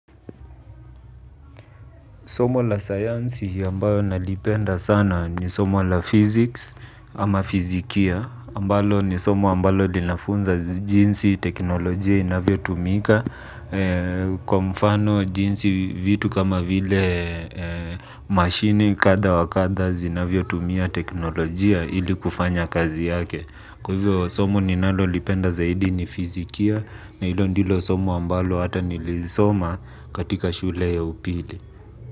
Somo la sayansi ambayo nalipenda sana ni somo la physics ama fizikia ambalo ni somo ambalo linafunza jinsi teknolojia inavyotumika. Kwa mfano jinsi vitu kama vile mashine kadha wa kadha zinavyotumia teknolojia ili kufanya kazi yake. Kwa hivyo somo ninalolipenda zaidi ni fizikia na hilo ndilo somo ambalo hata nilisoma katila shule ya upili.